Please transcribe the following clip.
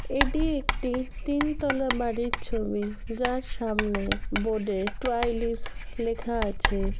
এটি একটি তিন তলা বাড়ির ছবি যার সামনে বোর্ড -এ ট্রাইলিশ লেখা আছে।